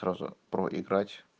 сразу проиграть